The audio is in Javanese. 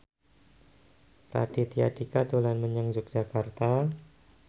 Raditya Dika dolan menyang Yogyakarta